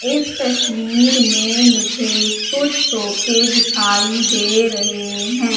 इस तस्वीर में मुझे कुछ सोफे दिखाइए दे रहे हैं।